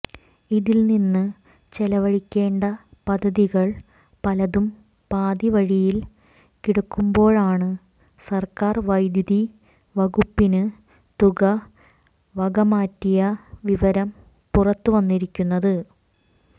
ഇതിൽ നിന്ന് ചെലവഴിക്കേണ്ട പദ്ധതികൾ പലതും പാതിവഴിയിൽ കിടക്കുന്പോഴാണ് സർക്കാർ വൈദ്യുതി വകുപ്പിന് തുക വകമാറ്റിയ വിവരം പുറത്തുവന്നിരിക്കുന്നത്